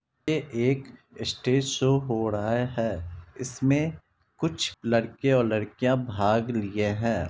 ये एक stage show हो रहा है इसमें कुछ लड़के और लड़कियां भाग लिए हैं।